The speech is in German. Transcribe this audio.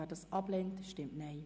Wer dies ablehnt, stimmt Nein.